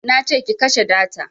Nace ki kashe data